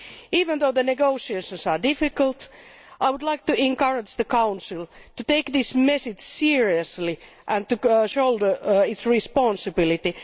Even though the negotiations are difficult, I would like to encourage the Council to take this message seriously and to shoulder its responsibility.